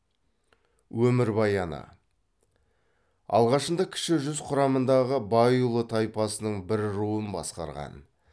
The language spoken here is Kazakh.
өмірбаяны алғашында кіші жүз құрамындағы байұлы тайпасының бір руын басқарған